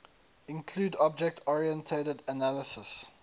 include object oriented analysis